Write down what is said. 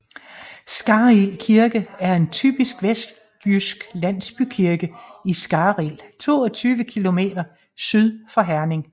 Skarrild Kirke er en typisk vestjysk landsbykirke i Skarrild 22 km syd for Herning